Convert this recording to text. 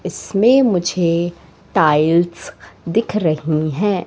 इसमें मुझे टाइल्स दिख रही है।